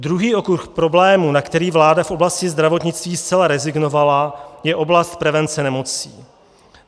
Druhý okruh problémů, na který vláda v oblasti zdravotnictví zcela rezignovala, je oblast prevence nemocí.